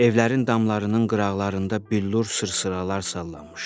Evlərin damlarının qıraqlarında billur sır-sır alandı.